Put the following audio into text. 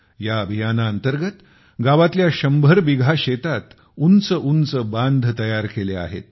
या अभियानाअंतर्गत गावातल्या शंभर बिघा शेतात उंच उंच बांध केले आहेत